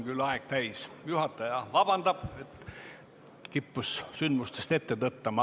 Juhataja palub vabandust, et kippus sündmustest ette tõttama.